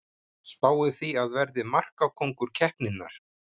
Spái því að verði markakóngur keppninnar!